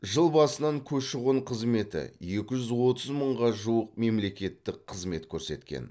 жыл басынан көші қон қызметі екі жүз отыз мыңға жуық мемлекеттік қызмет көрсеткен